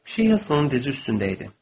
Pişik onun dizi üstündə idi.